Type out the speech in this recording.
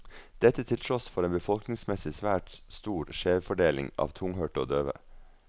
Dette til tross for en befolkningsmessig svært stor skjevfordeling av tunghørte og døve.